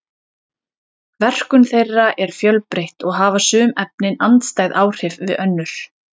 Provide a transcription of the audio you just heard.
verkun þeirra er fjölbreytt og hafa sum efnin andstæð áhrif við önnur